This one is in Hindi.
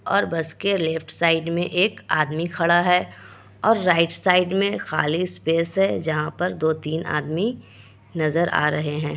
और बस के लेफ्ट साइड में एक आदमी खड़ा है और राईट साइड में खाली स्पेस है जहाँ पर दो-तीन आदमी नज़र आ रहें हैं।